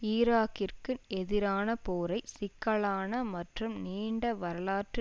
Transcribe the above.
ஈராக்கிற்கு எதிரான போரை சிக்கலான மற்றும் நீண்ட வரலாற்று